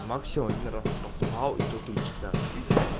максимум один раз поспал и то три часа